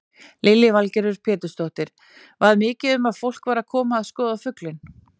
Lillý Valgerður Pétursdóttir: Var mikið um að fólk væri að koma að skoða fuglinn?